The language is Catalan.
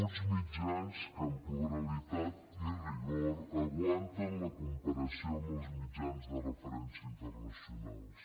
uns mitjans que en pluralitat i rigor aguanten la comparació amb els mitjans de referència internacionals